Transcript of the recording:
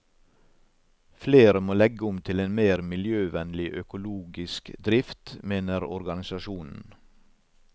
Flere må legge om til en mer miljøvennlig, økologisk drift, mener organisasjonen.